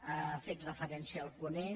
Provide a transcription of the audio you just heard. hi ha fet referència el ponent